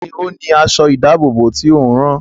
Ta ni ó ni aṣọ-ìdáàbòbò tí ò ń rán?